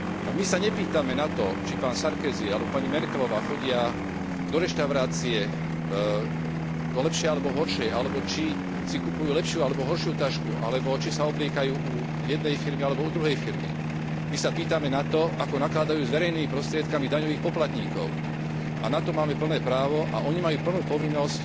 My sa nepýtame na to, či pán Sarkozy alebo pani Merkelová chodia do lepšej alebo horšej reštaurácie alebo či si kupujú lepšiu alebo horšiu tašku, alebo či sa obliekajú u jednej firmy alebo druhej firmy, my sa pýtame na to, ako nakladajú s verejnými prostriedkami daňových poplatníkov, a na to máme plné právo a oni majú plnú povinnosť